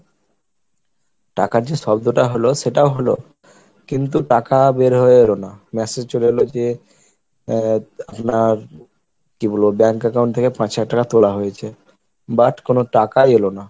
টাকার যে শব্দটা হলো সেটাও হলো কিন্তু টাকা বের হয়ে এলো না message চলে এলো যে আহ আপনার কি বলবো bank account থেকে পাঁচ হাজার টাকা তোলা হয়েছে, But কোনো টাকাই এলো না।